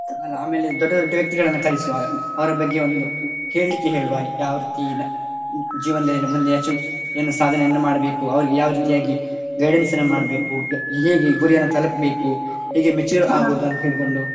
ಹ ಆಮೇಲೆ ದೊಡ್ಡ ದೊಡ್ಡ ವ್ಯಕ್ತಿಗಳನ್ನು ಕರಿಸುವ ಅವರ ಬಗ್ಗೆ ಒಂದು ಹೇಳ್ಲಿಕ್ಕೆ ಹೇಳುವ ಯಾವ ರೀತಿ ನಾ~ ಜೀವನದಲ್ಲಿ ಮುಂದೆ achieve ಎನ್ನು ಸಾಧನೆಯನ್ನು ಮಾಡ್ಬೇಕು ಅವ್ರಿಗೆ ಯಾವ ರೀತಿಯಾಗಿ guidance ಅನ್ನು ಮಾಡ್ಬೇಕು ಹೇಗೆ ಗುರಿಯನ್ನು ತಲುಪ್ಬೇಕು ಹೇಗೆ mature ಆಗುದಂತ ಹೇಳಿಕೊಂಡು.